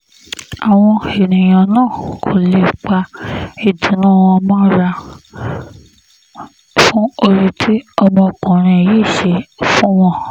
àwọn èèyàn náà kò lè pa ìdùnnú wọn mọ́ra fún oore tí ọmọkùnrin yìí ṣe fún wọn